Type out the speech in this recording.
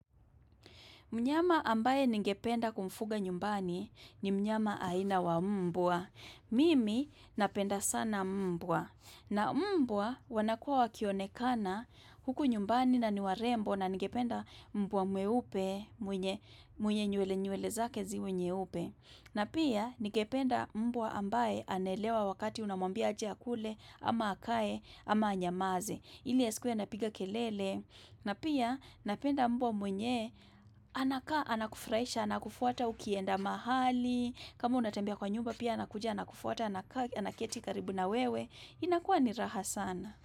Mnyama ambaye ningependa kumfuga nyumbani ni mnyama aina wa mbwa. Mimi napenda sana mbwa. Na mbwa wanakua wakionekana huku nyumbani na ni warembo na ningependa mbwa mweupe mwenye nywele nywele zake ziwe nyeupe. Na pia ningependa mbwa ambaye anaelewa wakati unamwambia aje akule, ama akae, ama anyamaze. Ili asikuwe anapiga kelele. Na pia napenda mbwa mwenye, anakaa, anakufurahisha, anakufuata ukienda mahali, kama unatembea kwa nyumba pia yeye anakuja, anakufuata, anakaa, anaketi karibu na wewe, inakuwa ni raha sana.